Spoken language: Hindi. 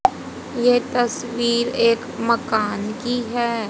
ये तस्वीर एक मकान की है।